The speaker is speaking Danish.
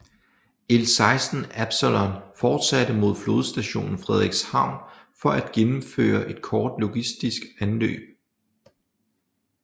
L16 Absalon fortsatte mod Flådestation Frederikshavn for at gennemføre et kort logistisk anløb